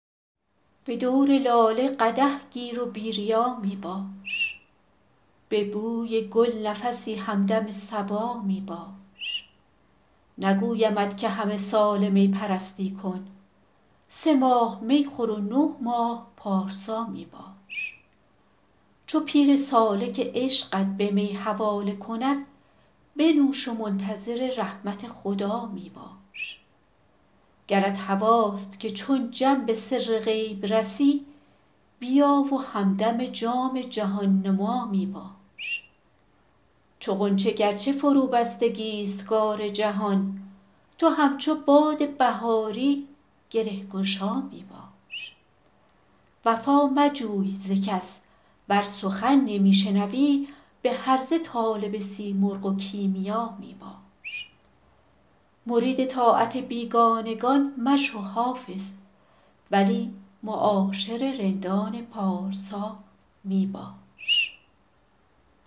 به دور لاله قدح گیر و بی ریا می باش به بوی گل نفسی همدم صبا می باش نگویمت که همه ساله می پرستی کن سه ماه می خور و نه ماه پارسا می باش چو پیر سالک عشقت به می حواله کند بنوش و منتظر رحمت خدا می باش گرت هواست که چون جم به سر غیب رسی بیا و همدم جام جهان نما می باش چو غنچه گر چه فروبستگی ست کار جهان تو همچو باد بهاری گره گشا می باش وفا مجوی ز کس ور سخن نمی شنوی به هرزه طالب سیمرغ و کیمیا می باش مرید طاعت بیگانگان مشو حافظ ولی معاشر رندان پارسا می باش